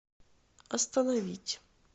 остановить